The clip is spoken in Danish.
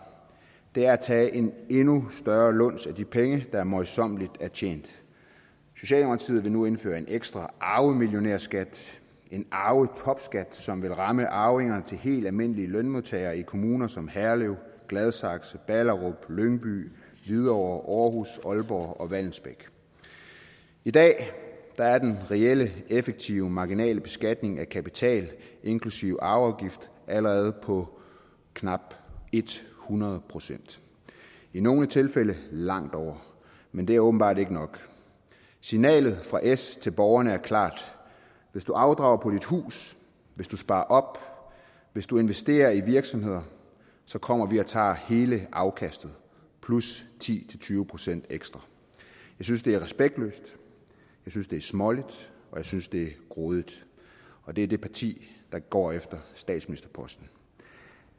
det er at tage en endnu større luns af de penge der møjsommeligt er tjent socialdemokratiet vil nu indføre en ekstra arvemillionærskat en arvetopskat som vil ramme arvinger til helt almindelige lønmodtagere i kommuner som herlev gladsaxe ballerup lyngby hvidovre aarhus aalborg og vallensbæk i dag er er den reelle effektive marginale beskatning af kapital inklusive arveafgift allerede på knap hundrede procent i nogle tilfælde langt over men det er åbenbart ikke nok signalet fra s til borgerne er klart hvis du afdrager på dit hus hvis du sparer op hvis du investerer i virksomheder så kommer vi og tager hele afkastet plus ti til tyve procent ekstra jeg synes det er respektløst jeg synes det er småligt og jeg synes det er grådigt og det er det parti der går efter statsministerposten